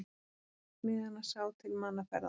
Einn smiðanna sá til mannaferða.